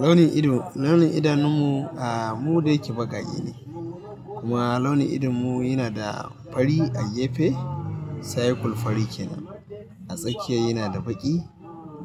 Launin ido, launin idanun mu, ah mu dayake baƙaƙe ne, kuma launin idonmu yana da fari a gefe, cycle fari ke nan, A tsakiyar yana da baƙi,